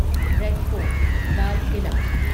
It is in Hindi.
red fort Lal Qila